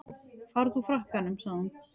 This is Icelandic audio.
Farðu úr frakkanum sagði hún.